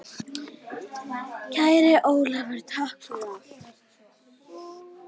Kæri Ólafur, takk fyrir allt.